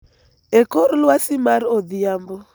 e kor lwasi mar odhiambo,